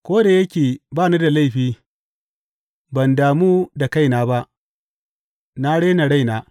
Ko da yake ba ni da laifi, ban damu da kaina ba; na rena raina.